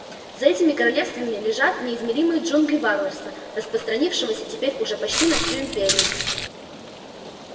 за этими королевствами лежат неизмеримые джунгли варварства распространившегося теперь уже почти на всю империю